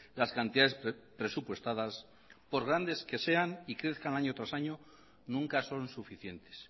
las cantidades presupuestadas por grandes que sean y crezcan año tras año nunca son suficientes